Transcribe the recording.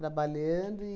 Trabalhando e...